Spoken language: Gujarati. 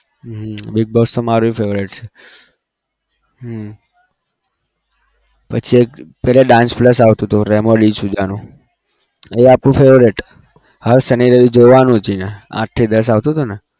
હમ big boss તો મારુ એ favourite છે હમ પછી એક પહેલા dance plus આવતું હતું રેમો ડિસુઝાનું એ આપણું favourite હર શનિ રવિ જોવા નું જ એને આઠ થી દસ આવતું હતુંને